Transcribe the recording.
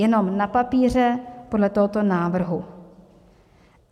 Jenom na papíře podle tohoto návrhu.